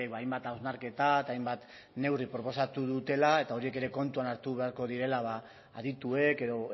hainbat hausnarketa eta hainbat neurri proposatu dutela eta horiek ere kontuan hartu beharko direla adituek edo